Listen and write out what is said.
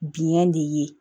Biyɛn de ye